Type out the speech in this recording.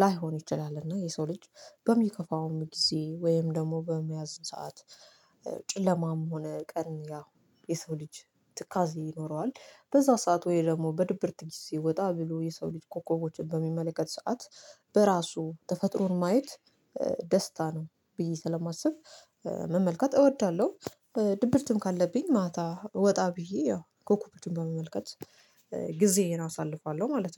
ላይሆን ይችላል እና የሰው ልጅ በሚከፋውም ጊዜ ወይም ደግሞ በሚያዝን ሰዓት ጭለማም ሆነ ቀን ያ የሰው ልጅ ትካዜ ይኖረዋል በዛ ሰዓት ወይ ደግሞ በድብርት ጊዜ ወጣ ብሎ የሰው ልጅ ኮከቦችን በሚመለከት ሰዓት በራሱ ተፈጥሮን ማየት ደስታ ነው ብዬ ስለማስብ መመልከት እወዳለሁ። ድብርትም ካለብኝ ማታ ወጣ ብዬ ያው ኮከቦችን በመመልከት ጊዜዬን አሳልፋለሁ ማለት ነው